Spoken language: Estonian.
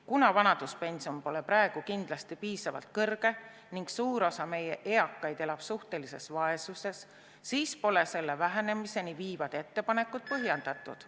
Kuna vanaduspension pole praegu kindlasti piisavalt kõrge ning suur osa meie eakaid elab suhtelises vaesuses, siis pole selle vähenemiseni viivad ettepanekud põhjendatud.